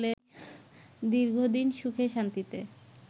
দীর্ঘদিন সুখে-শান্তিতে